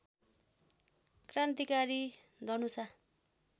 Krantikari Dhanusha